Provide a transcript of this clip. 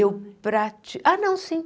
Eu pra... Ah, não, sim.